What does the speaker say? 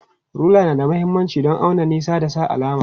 Rula na da mahimmanci don auna nisa da sa alama.